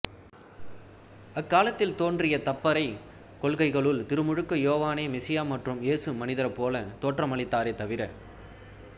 அக்காலத்தில் தோன்றிய தப்பறைக் கொள்கைகளுள் திருமுழுக்கு யோவானே மெசியா மற்றும் இயேசு மனிதர்போலத் தோற்றமளித்தாரே தவிர